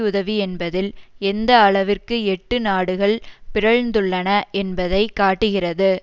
உதவி என்பதில் எந்த அளவிற்கு எட்டு நாடுகள் பிறழ்ந்துள்ளன என்பதை காட்டுகிறது